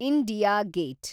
India gate